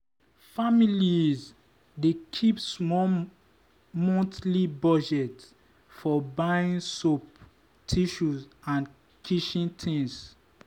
families dey keep small monthly budget for buying soap tissue and kitchen things.